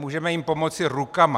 Můžeme jim pomoci rukama.